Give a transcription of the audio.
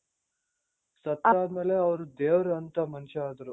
ಸತ್ತೋದ್ಮೇಲೆ ಅವ್ರು ದೇವ್ರಂತ ಮನುಷ್ಯ ಅದ್ರು.